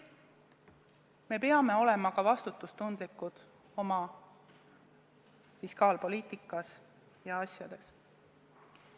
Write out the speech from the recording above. Me peame olema ka vastutustundlikud oma fiskaalpoliitikas ja muudes asjades.